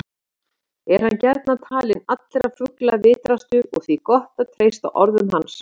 Er hann gjarnan talinn allra fugla vitrastur og því gott að treysta orðum hans.